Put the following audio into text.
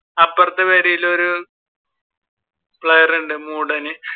അപ്പുറത്തെ പെരയിൽ ഒരു player ഉണ്ട്